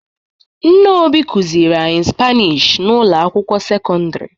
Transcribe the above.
Nne Obi kụziri anyị Spanishi n'ụlọ akwụkwọ sekondịri.